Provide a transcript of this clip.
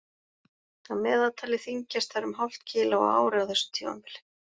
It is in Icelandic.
Að meðaltali þyngjast þær um hálft kíló á ári á þessu tímabili.